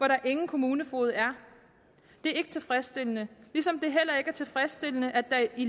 der ingen kommunefoged er det er ikke tilfredsstillende ligesom det heller ikke er tilfredsstillende at der i